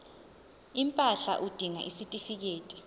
impahla udinga isitifikedi